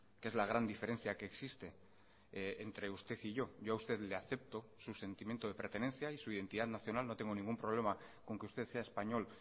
que es la gran diferencia que existe entre usted y yo yo a usted le acepto sus sentimiento de pertenencia y su identidad nacional no tengo ningún problema con que usted sea español